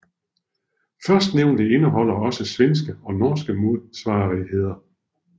Førstnævnte indeholder også svenske og norske modsvarigheder